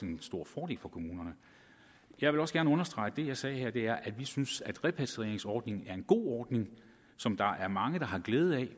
en stor fordel for kommunerne jeg vil også gerne understrege at det jeg sagde her var at vi synes at repatrieringsordningen er en god ordning som der er mange der har glæde af